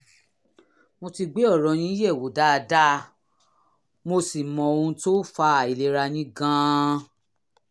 mo ti gbé ọ̀rọ̀ yín yẹ̀wò dáadáa mo sì mọ ohun tó fa àìlera yín gan-an